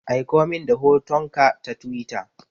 Aikomin da hotonka ta Twitter.